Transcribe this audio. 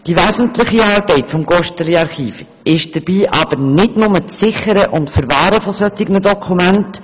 Die wesentliche Arbeit des GosteliArchivs besteht dabei aber nicht nur im Sichern und Verwahren solcher Dokumente.